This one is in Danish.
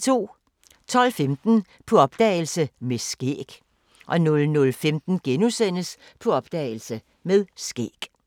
12:15: På opdagelse – Med skæg 00:15: På opdagelse – Med skæg *